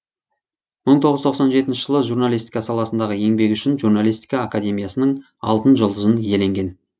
мың тоғыз жүз тоқсан жетінші жылы журналистика саласындағы еңбегі үшін журналистика академиясының алтын жүлдызын иеленген